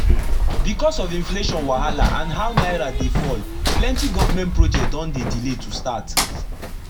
becos of inflation wahala and how naira dey fall plenti government project don dey delay to start